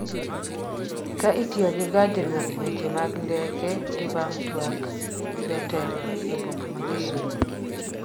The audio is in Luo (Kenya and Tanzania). ka itiyo gi gajruok weche mag ndeke gi bang' twak gi jotelo e boma ma Kisumo